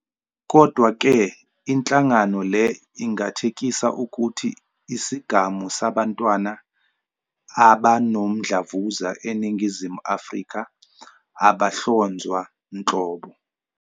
Kodwa-ke, inhlangano le ingathekisa ukuthi isigamu sabantwana abanomdlavuza eNingizimu Afrika abahlonzwa nhlobo.